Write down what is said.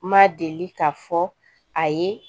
Ma deli k'a fɔ a ye